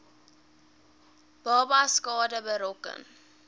babas skade berokken